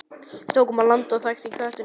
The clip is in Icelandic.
Við tökum land á þangi þöktum kletti.